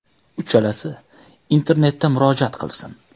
Uchalasi internetda murojaat qilsin.